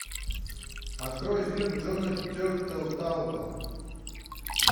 открой фильм джона тертелтауба